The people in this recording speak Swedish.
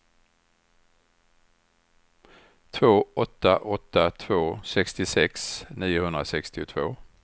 två åtta åtta två sextiosex niohundrasextiotvå